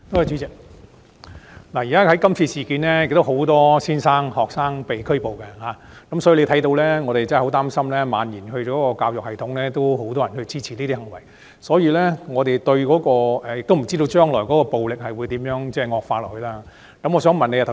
主席，今次事件中有很多老師和學生被拘捕，所以我們很擔心情況會蔓延至教育系統，而鑒於這些行為有很多人支持，我們亦不知道暴力情況將來會惡化到甚麼程度。